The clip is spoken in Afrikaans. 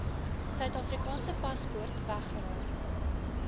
suidafrikaanse paspoort weggeraak